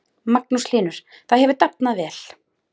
Magnús Hlynur: Það hefur dafnað vel?